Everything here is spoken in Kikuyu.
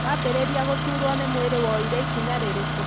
Wambĩrĩria gũturwo nĩ mwirĩ woire ikinya rĩrĩkũ?